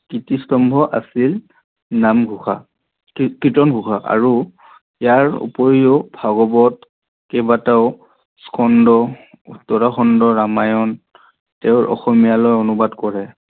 কীৰ্তিস্তম্ভ আছিল নাম ঘোষা কীৰ্তনঘোষা আৰু ইয়াৰোপৰীও ভাগৱতৰ কেইবাতাও স্কন্ধ উত্তৰ স্কন্ধ ৰামায়ন তেও অসমীয়ালৈ অনুবাদ কৰে